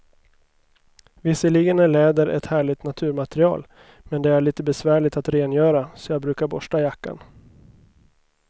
Visserligen är läder ett härligt naturmaterial, men det är lite besvärligt att rengöra, så jag brukar borsta jackan.